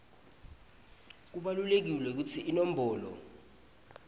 kubalulekile kutsi iinombolo